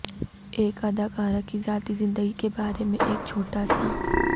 ایک اداکارہ کی ذاتی زندگی کے بارے میں ایک چھوٹا سا